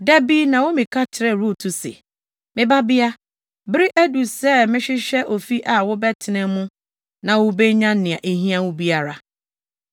Da bi Naomi ka kyerɛɛ Rut se, “Me babea, bere adu sɛ mehwehwɛ ofi a wobɛtena mu na wubenya nea ehia wo biara.